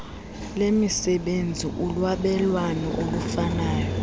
lezemisebenzi ulwabelwano olufanayo